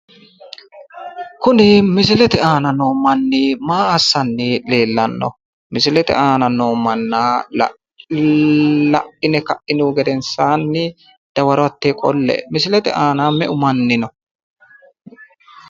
Kuni misilete aana noo manni maa assanni leellanno? Misilete aana noo manna la'ine ka'inihu gedensaanni dawaro hattee qolle'e. Misilete aana meu manni no?